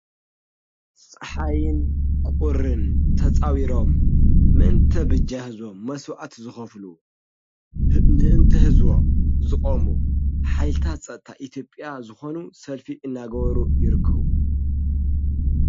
ፀሓይን ቁርን ተፃዊሮም ምእንቲ ብጃ ሕዝቦም መሥዋዕት ዝኸፍሉ ምእንቲ ሕዝቦም ዝቖሙ ኃይታ ጸታ ኢቲጵያ ዝኾኑ ሰልፊ እናገበሩ ይርክዉ።